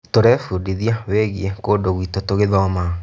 Tũrebundithia wĩgiĩ kũndũ gwĩtũ tũgĩthoma.